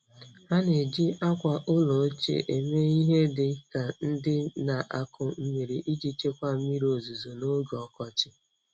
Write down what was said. Ha na-eji akwa ụlọ ochie eme ihe dị ka ndị na-akụ mmiri iji chekwaa mmiri ozuzo n'oge ọkọchị.